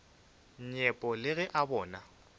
nyepo le ge a bona